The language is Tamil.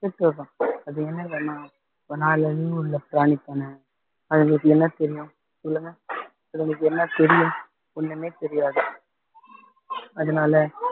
ஐந்து அறிவுள்ள பிராணிதான அவங்களுக்கு என்ன தெரியும் சொல்லுங்க அதுங்களுக்கு என்ன தெரியும் ஒண்ணுமே தெரியாது அதனால